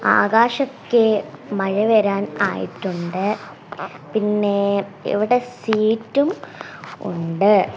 ആകാശത്തിൽ മഴ വരാൻ ആയിട്ടുണ്ട് പിന്നെ ഇവിടെ സീറ്റും ഉണ്ട്.